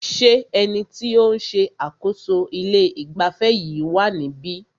Ṣé ẹni tí o ń ṣe àkóso ilé ìgbafẹ́ yìí wá níbí?